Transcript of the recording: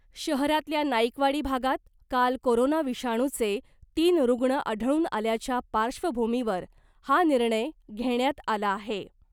शहरातल्या नाईकवाडी भागात काल कोरोना विषाणूचे तीन रुग्ण आढळून आल्याच्या पार्श्वभूमीवर हा निर्णय घेण्यात आला आहे .